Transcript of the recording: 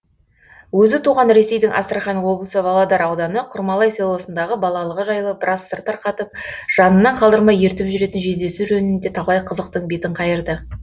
өзі туған ресейдің астрахань облысы володар ауданы құрмалай селосындағы балалығы жайлы біраз сыр тарқатып жанынан қалдырмай ертіп жүретін жездесі жөнінде талай қызықтың бетін қайырды